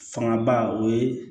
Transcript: Fanga ba o ye